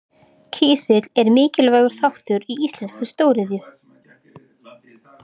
Kísill er mikilvægur þáttur í íslenskri stóriðju.